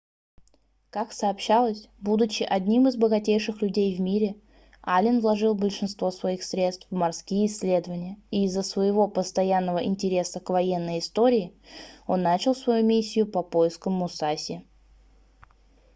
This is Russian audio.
ка сообщалось будучи одним из богатейших людей в мире аллен вложил большинство своих средств в морские исследования и из-за своего постоянного интереса к военной истории он начал свою миссию по поискам мусаси